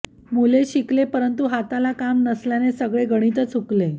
मुले शिकले परंतु हाताला काम नसल्याने सगळे गणितच हुकले